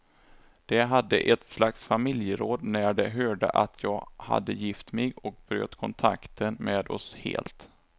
De hade ett slags familjeråd när de hörde att jag hade gift mig, och bröt kontakten med oss helt.